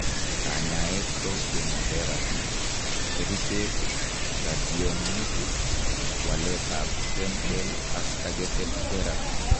Kanyaet ko chemoterapy, kerichek, radiationik, waleet ab stem cell ak targeted therapy